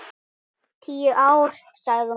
Tíu ár, sagði hún.